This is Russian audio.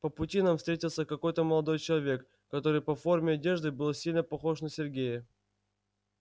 по пути нам встретился какой-то молодой человек который по форме одежды был сильно похож на сергея